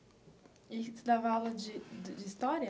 E você dava aula de de de história?